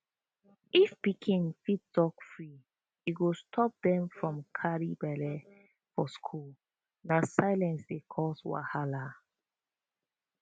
if pikin fit talk free e go stop dem from carry belle for school na silence dey cause wahala